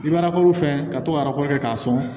I bɛ fɛn ka to ka kɛ k'a sɔn